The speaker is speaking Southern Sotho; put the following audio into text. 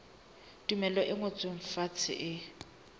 tumello e ngotsweng fatshe e